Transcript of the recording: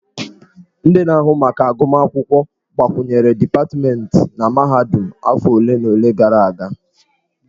Ndị na-ahụ maka agụmakwụkwọ gbakwunyere dipatmentị na mahadum afọ ole na ole gara aga.